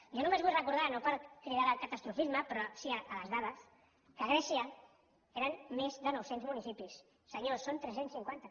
jo només vull recordar no per cridar al catastrofisme però sí a les dades que a grècia eren més de nou cents municipis senyors són tres cents i cinquanta